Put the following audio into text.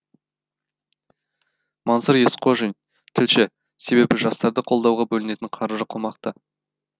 мансұр есқожин тілші себебі жастарды қолдауға бөлінетін қаржы қомақты